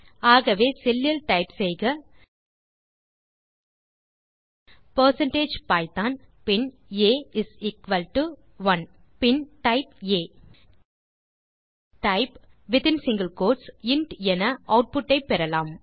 ஆகவே செல் லில் டைப் செய்க பெர்சென்டேஜ் பைத்தோன் பின் ஆ இஸ் எக்குவல் டோ 1 பின் டைப் செய்க ஆ டைப் இன்ட் என ஆட்புட் ஐ பெறலாம்